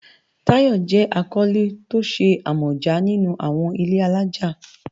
Tayo jẹ́ akọ́lé tó ṣe àmọ̀já nínú àwọn ilé-alájà